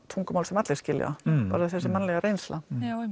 tungumál sem allir skilja bara þessi mannlega reynsla